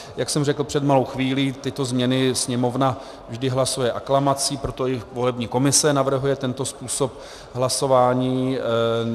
Jak jsem řekl před malou chvílí, tyto změny Sněmovna vždy hlasuje aklamací, proto i volební komise navrhuje tento způsob hlasování.